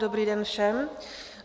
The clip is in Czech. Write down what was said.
Dobrý den všem.